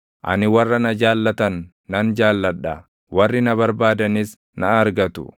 Ani warra na jaallatan nan jaalladha; warri na barbaadanis na argatu.